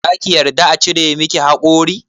Za ki yarda a cire miki haƙori?